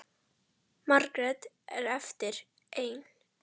Margrét er eftir ein.